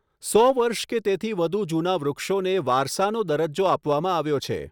સો વર્ષ કે તેથી વધુ જૂના વૃક્ષોને વારસાનો દરજ્જો આપવામાં આવ્યો છે.